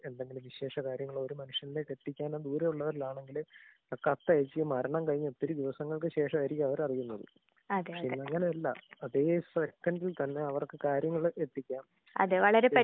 തീർച്ചയായും നല്ലൊരു കാര്യാണ്. എന്താന്ന് വെച്ച് കഴിഞ്ഞാൽ പണ്ട് കാലങ്ങളിൽ ഈ പറഞ്ഞ പോലെ ഒരു മരണം അങ്ങനെ എന്തെങ്കിലും വിശേഷ കാര്യങ്ങള് ഒരു മനുഷ്യനിലേക്ക് എത്തിക്കാനോ ദൂരെയുള്ളവരിലാണെങ്കില് കത്തയച്ചു മരണം കഴിഞ്ഞ് ഒത്തിരി ദിവസങ്ങൾക്കു ശേഷായിരിക്കും അവരറിയുന്നത്. പക്ഷെ ഇന്നങ്ങനെയല്ലാ. അതേ സെക്കൻഡിൽ തന്നെ അവർക്ക് കാര്യങ്ങള് എത്തിക്കാം.